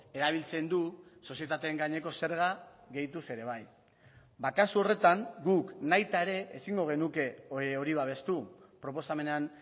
erabiltzen du sozietateen gaineko zerga gehituz ere bai ba kasu horretan guk nahita ere ezingo genuke hori babestu proposamenean